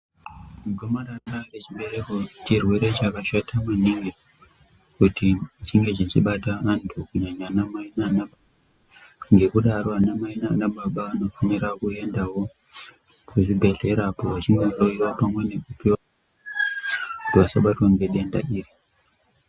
Gomarara rechibereko chirwere chakashata maningi kuti chinge chechibata anhu kunyanya anamai nanababa, ngekudaro anamai nanababa anofanira kuendawo kuchibhedhlera kunohloiwa pamwe bekupiwa, kuti vasabatwa nedenda iri.